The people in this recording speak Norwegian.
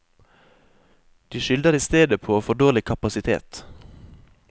De skylder i stedet på for dårlig kapasitet.